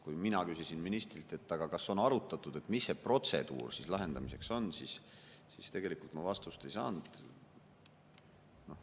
Kui mina küsisin ministrilt, kas on arutatud, mis protseduur lahendamiseks on, siis tegelikult ma vastust ei saanud.